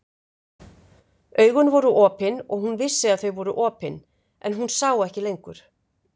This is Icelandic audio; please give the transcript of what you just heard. Augun voru opin og hún vissi að þau voru opin, en hún sá ekki lengur.